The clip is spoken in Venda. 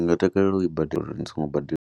Ndi nga takalela u i badela, ndi songo badela.